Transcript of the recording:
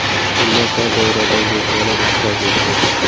Unda tor doiradagi mehmonlar ishtirok etdi.